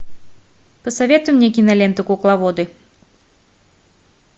посоветуй мне киноленту кукловоды